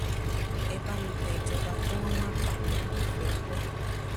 ẹ bá mi bẹ ìjọba kí wọn má pa mí mi ò fẹẹ kú